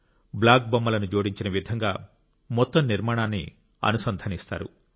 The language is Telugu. బ్లాక్ బొమ్మలను జోడించబడిన విధంగా మొత్తం నిర్మాణాన్ని అనుసంధానిస్తారు